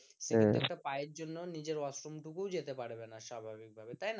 পায়ের জন্য নিজের ওয়াশরুম টুকু যেতে পারবে না স্বাভাবিকভাবে তাই না